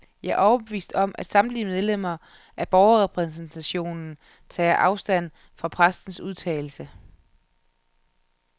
Jeg er overbevist om, at samtlige medlemmer af borgerrepræsentationen tager afstand fra præstens udtalelse.